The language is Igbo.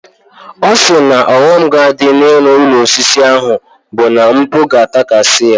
Ọ sị na ọghọm ga-adị n'ịrụ ụlọ osisi ahụ bụ na mkpu ga-atakasị ya.